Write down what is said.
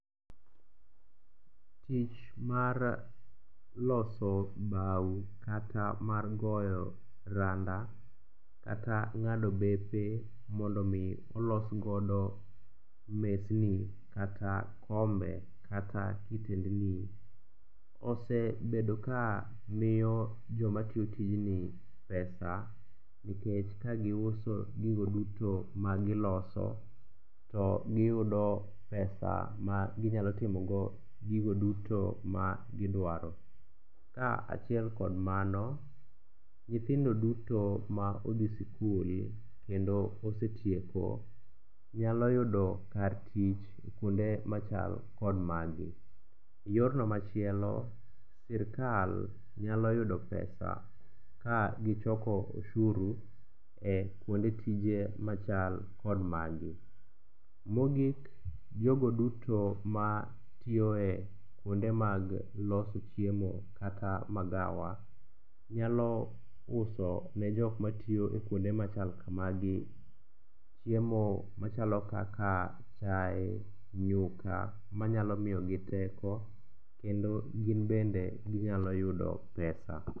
Tich mar loso bao kata mar goyo randa kata ng'ado bepe mondo omi olosgodo mesni kata kombe kata kitendni, osebedo ka miyo jomatiyo tijni pesa nikech ka giuso gigo duto magiloso to giyudo pesa maginyalo timogo gigo duto magidwaro. Kaachiel kod mano, nyithindo duto ma odhi sikul kendo osetieko nyalo yudo kar tich kuonde machal kod magi. Yorno machielo, sirkal nyalo yudo pesa kagichoko oshuru e kuonde tije machal kod magi. Mogik, jogo duto matiyo e kuonde mag loso chiemo kata magawa, nyalo uso ne jokmatiyo e kuonde machal kamagi chiemo machalo kaka chae, nyuka manyalo miyogi teko kendo gin bende ginyalo yudo pesa.